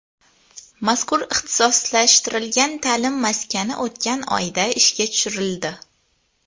Mazkur ixtisoslashtirilgan ta’lim maskani o‘tgan oyda ishga tushirildi.